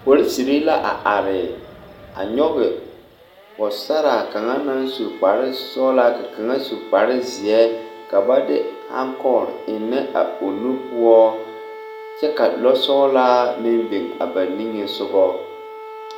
Porosiri la a are a nyɔge pɔgesaraa kaŋa naŋ su kparesɔglaa ka kaŋa su kparezeɛ ka ba de hankɔgre a eŋnɛ a nu poɔ kyɛ ka lɔsɔglaa meŋ biŋ ba nige soga.